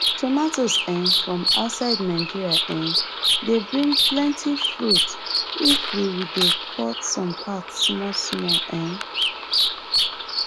tomatoes um from outside nigeria um dey bring plenty fruit if we we dey cut some part small small um